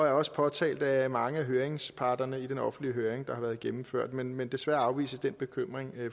er også påtalt af mange af høringsparterne i den offentlige høring der har været gennemført men men desværre afvises den bekymring